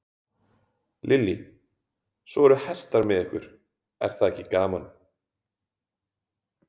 Lillý: Svo eru hestar með ykkur, er það ekki gaman?